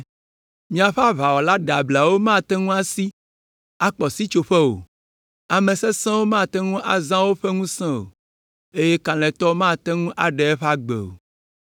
Miaƒe aʋawɔla ɖeablawo mate ŋu asi, akpɔ sitsoƒe o, ame sesẽwo mate ŋu azã woƒe ŋusẽ o, eye kalẽtɔ mate ŋu aɖe eƒe agbe o.